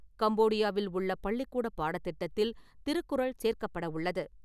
கம்போடியாவில் உள்ள பள்ளிக்கூடப் பாடத் திட்டத்தில் திருக்குறள் சேர்க்கப்படவுள்ளது.